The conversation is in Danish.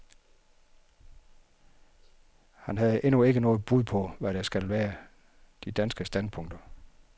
Han havde endnu ikke noget bud på, hvad der skal være de danske standpunkter.